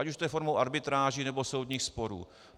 Ať už to je formou arbitráží, nebo soudních sporů.